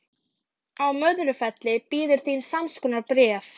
Heil fjölskylda sem sé, sagði ég.